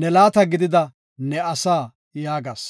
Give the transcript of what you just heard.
ne laata gidida ne asaa” yaagas.